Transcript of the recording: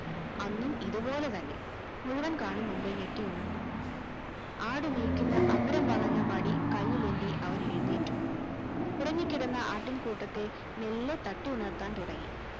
അന്നും ഇതുപോലെ തന്നെ മുഴുവൻ കാണും മുമ്പേ ഞെട്ടി ഉണർന്നു ആട് മേയ്ക്കുന്ന അഗ്രം വളഞ്ഞ വടി കയ്യിലേന്തി അവൻ എഴുന്നേറ്റു ഉറങ്ങിക്കിടന്ന ആട്ടിൻകൂട്ടത്തെ മെല്ലെ തട്ടി ഉണർത്താൻ തുടങ്ങി